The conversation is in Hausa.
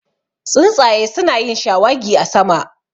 Tsuntsaye su na yin shawagi a sama